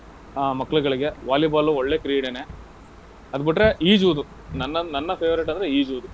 ಆಹ್ ಮಕ್ಳ್ಗಳಿಗೆ Volleyball ಒಳ್ಳೆ ಕ್ರೀಡೆನೇ. ಅದ್ ಬುಟ್ರೆ ಈಜುವುದು. ನನ್ನ ನನ್ನ favorite ಅಂದ್ರೆ ಈಜುವುದು.